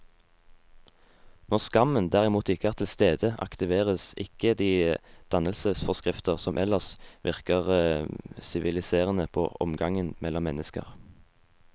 Når skammen derimot ikke er til stede, aktiveres ikke de dannelsesforskrifter som ellers virker siviliserende på omgangen mellom mennesker.